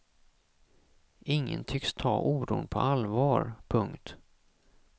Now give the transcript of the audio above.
Ingen tycks ta oron på allvar. punkt